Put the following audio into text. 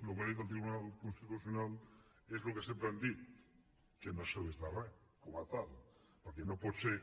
el que ha dit el tribunal constitucional és el que sempre hem dit que no serveix de res com a tal perquè no pot ser